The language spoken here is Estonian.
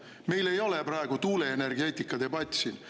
Meil ei ole praegu tuuleenergeetikadebatt siin.